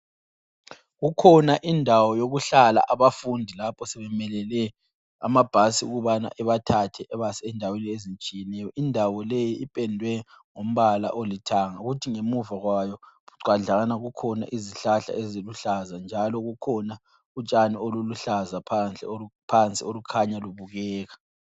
Kukhona indawo yokuhlala abafundi lapho sebemelele amabhasi ukubana ebathathe ebase endaweni ezitshiyeneyo. Indawo leyi ipendwe ngombala olithanga kuthi ngemuva kwayo bucwadlana kukhona izihlahla ezibuhlaza njalo kukhona utshani oluluhlaza phansi obukhanya bubukeka.